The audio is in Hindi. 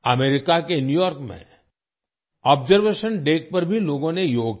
अमेरिका के न्यू यॉर्क में अब्जर्वेशन डेक पर भी लोगों ने योग किया